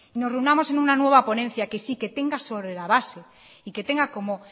nos reunamos en una nueva ponencia que sí que tenga sobre la base y que tenga como